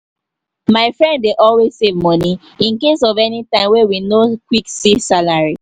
my friend dey always save money incase of anytime wey we no quick see salary